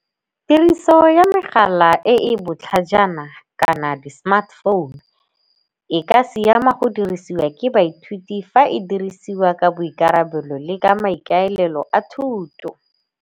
Tiriso ya megala e e botlhajana kana di-smartphone e ka siama go dirisiwa ke baithuti fa e dirisiwa ka boikarabelo le ka maikaelelo a thuto.